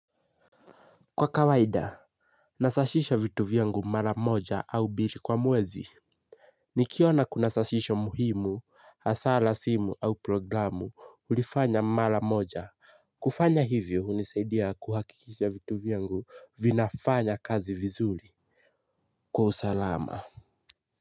Kwa kawaida, nasashisha vitu vyangu mara moja au bili kwa muwezi. Nikiona kuna sashisho muhimu, asa la simu au programu ulifanya mara moja. Kufanya hivyo unisaidia kuhakikisha vitu vyangu vinafanya kazi vizuli. Kwa usalama.